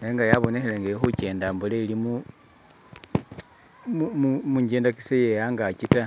nenga yabonekhele nga ili khukenda ambola ili mu ngendakisa iye angaki ta.